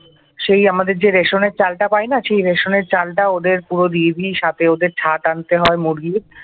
সেই আমাদের যে রেশনের চালটা পায়না সেই রেশনের চালটা ওদের পুরো দিয়ে দিই সাথে ওদের ছাট আনতে হয় মুরগির।